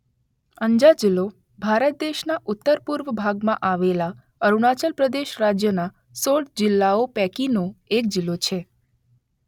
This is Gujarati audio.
અંજા જિલ્લો ભારત દેશના ઉત્તર - પૂર્વ ભાગમાં આવેલા અરુણાચલ પ્રદેશ રાજ્યના ૧૬ જિલ્લાઓ પૈકીનો એક જિલ્લો છે.